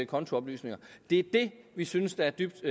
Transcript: kontooplysninger det er det vi synes er dybt